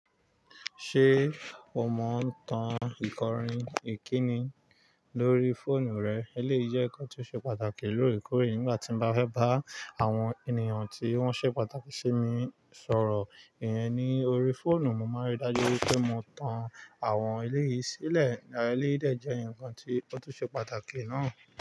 Ṣé o mọ ń tan ikọrin ìkíni lórí fóònù rẹ? Eléyìí jẹ́ nǹkan tó ṣe pàtàkì lóòrèkóòrè nígbà tí mo bá fẹ́ bá àwọn ènìyàn tí wọ́n ṣe pàtàkì sí mi sọ̀rọ̀. Ìyẹn ni orí fóònù, mo máa rí i dájú pé mo tan àwọn eléyìí sílẹ̀. Eléyìí dẹ̀ jẹ́ nǹkan tí ó tún ṣe pàtàkì náà.